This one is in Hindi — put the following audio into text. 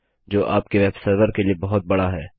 जो आपके वेबसर्वर के लिए बहुत बड़ा है